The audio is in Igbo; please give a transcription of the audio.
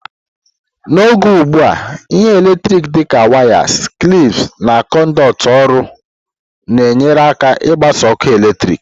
N'oge ugbu a, ihe eletriki dị ka wires, clips, na conduit ọrụ na-enyere aka ịgbasa ọkụ eletrik.